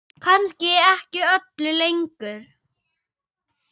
Kannski ekki öllu lengur?